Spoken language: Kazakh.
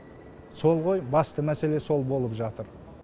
сол ғой басты мәселе сол болып жатыр